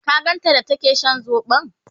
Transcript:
ka ganta da take Shan sobo?